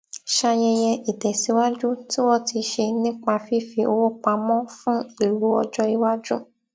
ṣayẹyẹ ìtèsíwájú tí wón ti ṣe nípa fífi owó pamọ fún ìlò ọjọiwájú